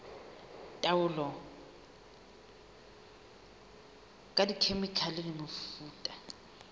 taolo ka dikhemikhale le mefuta